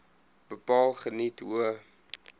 bepaal geniet hoë